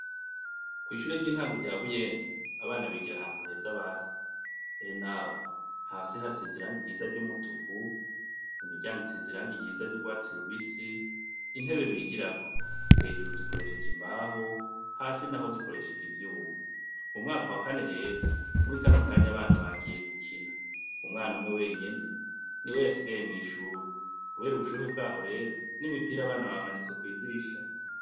kw'shure ry'intango rya buyenzi abana bigire ahantu heza basi! ehe nawe hasi hasize iranga ryiza ry'umutuku imiryango isize iranga ryiza ry'urwatsi rubisi, intebe bigirako, hejuru zikoresheje imbaho hasi naho zikoresheje ivyuma, mu mwaka wa kane rero muri kano kanya abana bagiye gukina, umwana umwe wenyene ni we yasigaye mw'ishure kubera ubushuhe bwaho rero n'imipire abana bamanitse kwidirisha.